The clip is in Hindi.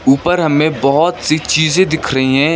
ऊपर हमें बहुत सी चीजें दिख रही हैं।